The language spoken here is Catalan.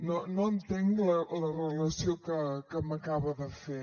no entenc la relació que m’acaba de fer